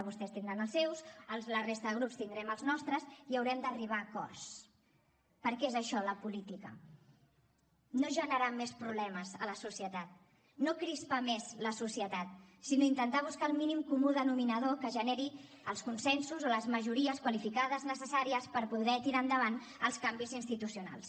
vostès tindran els seus la resta de grups tindrem els nostres i haurem d’arribar a acords perquè és això la política no generar més problemes a la societat no crispar més la societat sinó intentar buscar el mínim comú denominador que generi els consensos o les majories qualificades necessàries per poder tirar endavant els canvis institucionals